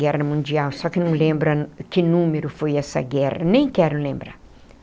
Guerra Mundial, só que não lembro que número foi essa guerra, nem quero lembrar.